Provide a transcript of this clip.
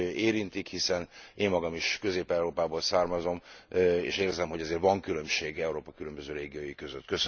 érintik, hiszen én magam is Közép Európából származom, és érzem, hogy azért van különbség Európa különböző régiói között.